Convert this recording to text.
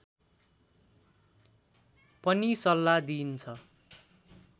पनि सल्लाह दिइन्छ